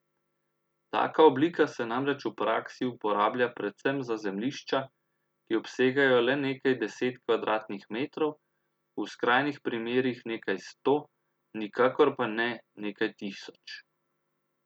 Taka oblika se namreč v praksi uporablja predvsem za zemljišča, ki obsegajo le nekaj deset kvadratnih metrov, v skrajnih primerih nekaj sto, nikakor pa ne nekaj tisoč.